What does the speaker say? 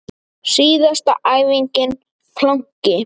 Síðasta æfingin planki.